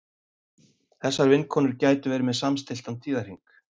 Þessar vinkonur gætu verið með samstilltan tíðahring.